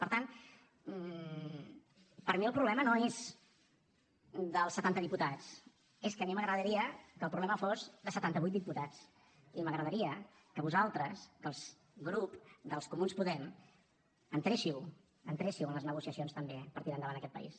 per tant per mi el problema no és dels setanta diputats és que a mi m’agradaria que el problema fos de setanta vuit diputats i m’agradaria que vosaltres que el grup d’en comú podem entréssiu entréssiu en les negociacions també per tirar endavant aquest país